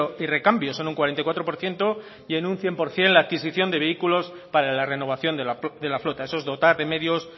y recambios son un cuarenta y cuatro por ciento y en un cien por ciento la adquisición de vehículos para la renovación de la flota eso es dotar de medios